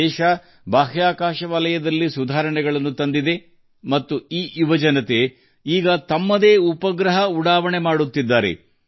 ದೇಶವು ಬಾಹ್ಯಾಕಾಶ ಸುಧಾರಣೆಗಳನ್ನು ಕೈಗೊಂಡಿತು ಮತ್ತು ಅದೇ ಯುವಕರು ಈಗ ತಮ್ಮದೇ ಆದ ಉಪಗ್ರಹಗಳನ್ನು ಉಡಾವಣೆ ಮಾಡುತ್ತಿದ್ದಾರೆ